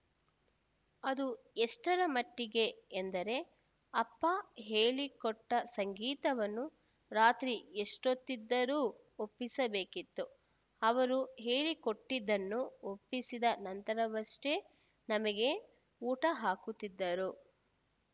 ಅದು ಎಷ್ಟರ ಮಟ್ಟಿಗೆ ಎಂದರೆ ಅಪ್ಪ ಹೇಳಿಕೊಟ್ಟಸಂಗೀತವನ್ನು ರಾತ್ರಿ ಎಷ್ಟೊತ್ತಿದ್ದರು ಒಪ್ಪಿಸಬೇಕಿತ್ತು ಅವರು ಹೇಳಿಕೊಟ್ಟಿದ್ದನ್ನು ಒಪ್ಪಿಸಿದ ನಂತರವಷ್ಟೇ ನಮಗೆ ಊಟ ಹಾಕುತ್ತಿದ್ದರು